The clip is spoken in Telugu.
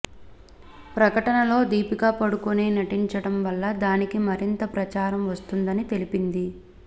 ప్రకటనలో దీపికా పడుకొనే నటించడం వల్ల దానికి మరింత ప్రచారం వస్తుందని తెలిపింది